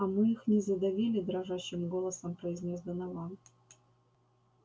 а мы их не задавили дрожащим голосом произнёс донован